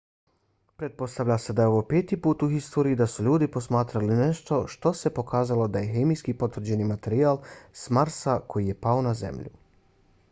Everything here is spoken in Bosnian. pretpostavlja se da je ovo peti put u historiji da su ljudi posmatrali nešto što se pokazalo da je hemijski potvrđeni materijal s marsa koji je pao na zemlju